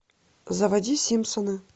заводи симпсоны